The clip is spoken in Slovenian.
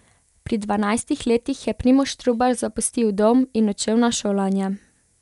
Pri dvanajstih letih je Primož Trubar zapustil dom in odšel na šolanje.